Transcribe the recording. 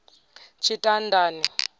tshitandani